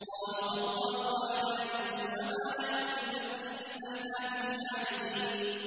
قَالُوا أَضْغَاثُ أَحْلَامٍ ۖ وَمَا نَحْنُ بِتَأْوِيلِ الْأَحْلَامِ بِعَالِمِينَ